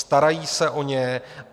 Starají se o ně.